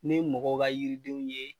Ni mɔgɔw ka yiridenw ye